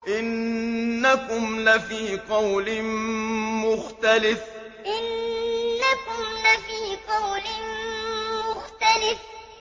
إِنَّكُمْ لَفِي قَوْلٍ مُّخْتَلِفٍ إِنَّكُمْ لَفِي قَوْلٍ مُّخْتَلِفٍ